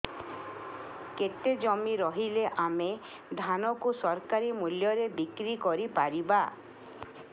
କେତେ ଜମି ରହିଲେ ଆମେ ଧାନ କୁ ସରକାରୀ ମୂଲ୍ଯରେ ବିକ୍ରି କରିପାରିବା